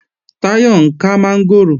Táyọ̀ ń kán mọ́ngòrò